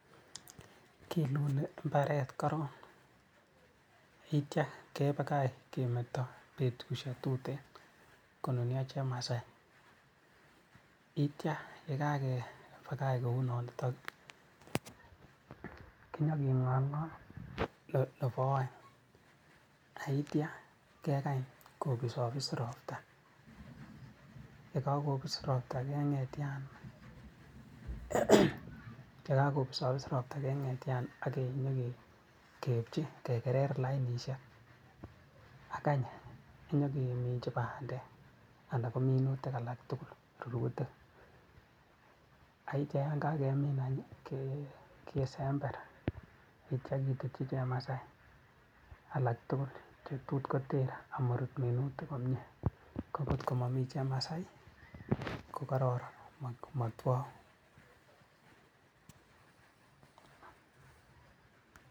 Kiluli mbaret korong akitian kebakach kemeto betusio tuten konunio chemasai, akitia yekakepakach kou nonitok kinyoking'olng'ol nepo aeng akitia kekang kobisobis ropta yekobis ropta keng'etian yekobisobis ropta keng'etian akinyokepchi kekerer lainishek akany inyokeminji bandek anan kominutik alak tugul rurutik akitian yan kakemin any kesember akitian kitutchi chemasai alak tugul chetutkoter amorut minutik komie kokot komomii chemasai ko kororon komotwou,